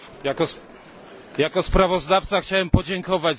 Jako sprawozdawca chciałem podziękować za to głosowanie.